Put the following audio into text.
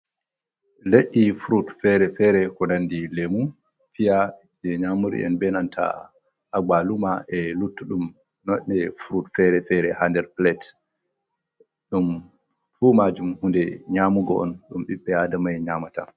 Ledde furut fere-fere kunandi lemu fiya je nyamuriyen benanta abaluma e luttudum noɗɗe frut fere-fere hader plate dum fumajum hunde nyamuga on dum ɓiɓɓe adama en nyamata.